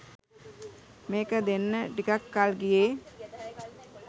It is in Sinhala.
මේක දෙන්න ටිකක් කල් ගියෙ